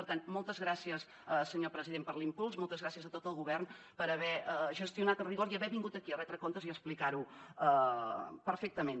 per tant moltes gràcies senyor president per l’impuls moltes gràcies a tot el govern per haver gestionat amb rigor i haver vingut aquí a retre comptes i a explicar ho perfectament